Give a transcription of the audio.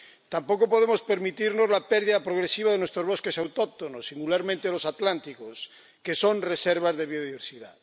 Tampoco podemos permitirnos la pérdida progresiva de nuestros bosques autóctonos, singularmente los atlánticos, que son reservas de biodiversidad.